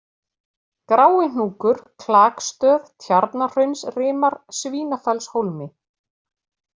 Gráihnúkur, Klakstöð, Tjarnarhraunsrimar, Svínafellshólmi